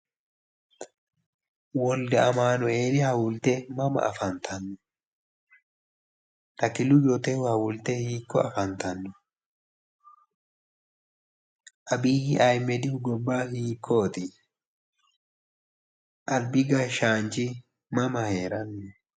Wolde Amanueli huwulte mama afantanno? Takilu Yotehu huwulte hiikko afantanno? Abiyyi ahimedihu gobba hiikkooti? Albi gashshaanchi mama heeranno?